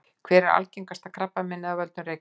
hvert er algengasta krabbameinið af völdum reykinga